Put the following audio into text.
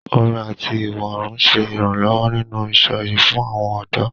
Orin àti ìwọ́rùn ń ṣe ìrànlọ́wọ́ nínú ìsọ̀yè fún àwọn ọ̀dọ́.